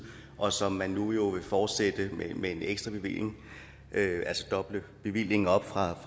og som man jo nu vil fortsætte med en ekstra bevilling altså doble bevillingen op fra